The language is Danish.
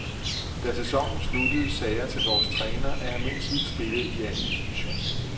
Da sæsonen sluttede, sagde jeg til vores træner, at jeg mindst ville spille i anden division.